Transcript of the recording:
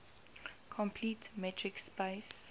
complete metric space